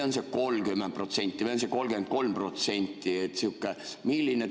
On see 25% või on see 30% või on see 33%?